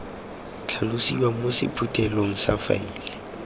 tlhalosiwa mo sephuthelong sa faele